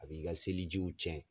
A b'i ka seli jiw cɛn.